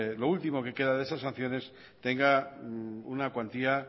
lo último que queda de esas sanciones tenga una cuantía